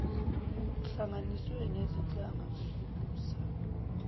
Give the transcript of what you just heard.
kuhlanganiswe nezinhlaka zokubusa